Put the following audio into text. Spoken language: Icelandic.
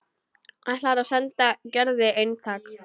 Ætlar að senda Gerði eintak.